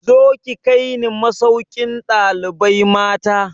Zo ki kai ni masaukin ɗalibai mata!